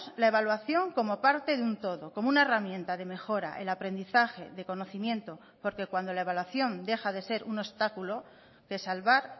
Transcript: la evaluación como parte de un todo como una herramienta de mejora el aprendizaje de conocimiento porque cuando la evaluación deja de ser un obstáculo de salvar